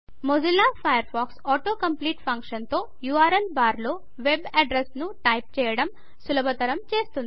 Mozilla Firefox autocomplete ఫంక్షన్తో URL బార్లో web addresses ను టైప్ చేయడం సులభతరం చేస్తుంది